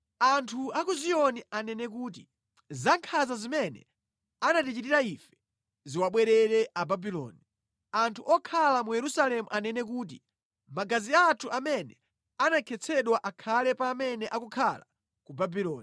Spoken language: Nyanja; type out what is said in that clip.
Anthu a ku Ziyoni anene kuti, “Zankhanza zimene anatichitira ife ziwabwerere Ababuloni.” Anthu okhala mu Yerusalemu anene kuti, “Magazi athu amene anakhetsedwa akhale pa amene akukhala ku Babuloni.”